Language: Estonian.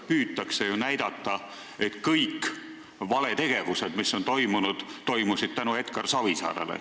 Püütakse ju näidata, et kõik valed tegevused, mis toimusid, toimusid tänu Edgar Savisaarele.